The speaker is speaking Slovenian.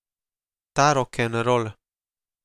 Ta rokenrol.